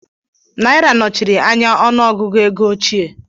Naira nọchiri anya ọnụ ogụgụ ego óchiè